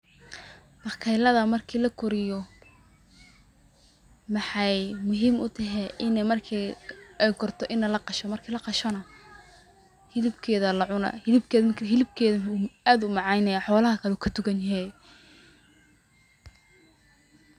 Bakaylada markii la koriyo maxay muhiim utahay ini markii ay korto ini laqasho markii laqasho na hilibkeeda lacuna hilibkeeda aad u macaan yehe xolaha kale wuu ka dugan yehe